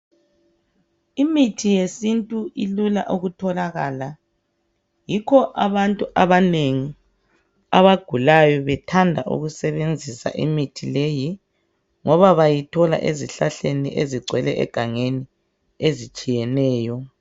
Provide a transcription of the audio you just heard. Imithi yesiNtu ilula ukutholakala yikho abantu abanengi abagulayo bethanda ukusebenzisa imithi leyi ngoba bayithola ezihlahleni ezigcwele egangeni ezitshiyeneyo.